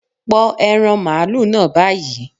Pọ ẹran màlúù náà báyìí